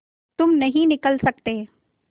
तुम नहीं निकल सकते